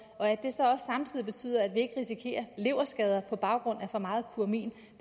at det så også samtidig betyder at vi ikke risikerer leverskader på grund af for meget kumarin